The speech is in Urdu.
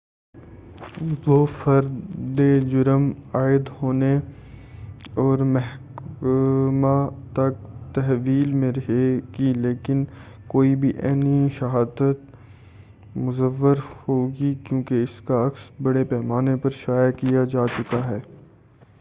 وہ فردِ جرم عاید ہونے اور محاکمہ تک تحویل میں رہے گی لیکن کوئی بھی عینی شہادت مُزوّر ہو گی کیوں اس کا عکس بڑے پیمانہ پر شایع کیا جا چکا ہے